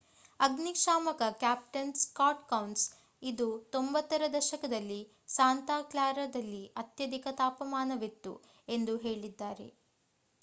ಅಗ್ನಿಶಾಮಕ captain Scott Kouns ಇದು 90 ರ ದಶಕದಲ್ಲಿ ಸಾಂತಾ ಕ್ಲಾರಾದಲ್ಲಿ ಅತ್ಯಧಿಕ ತಾಪಮಾನವಿತ್ತು ಎಂದು ಹೇಳಿದ್ದಾರೆ